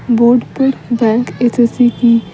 board पर bank SSC की --